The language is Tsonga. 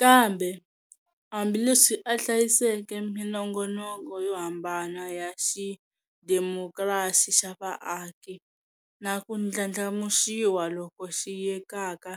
Kambe, hambi leswi a hlayiseke minongonoko yo hambana ya xidemokirasi xa vaaki, na ku ndlandlamuxiwa loku xiyekaka